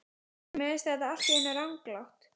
Og mér finnst þetta allt í einu ranglátt.